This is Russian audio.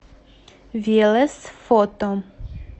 велес фото